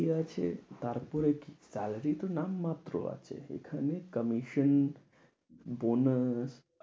এবার কি আছে, তারপরে কি তাদেরই নাম মাত্ৰ আছে, এখানে কমিশন, বোনাস।